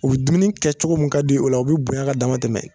U be dumuni kɛ cogo mun ka d'u ye o la u be bonya ka dama tɛmɛ